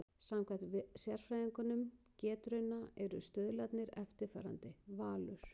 Samkvæmt sérfræðingum Getrauna eru stuðlarnir eftirfarandi: Valur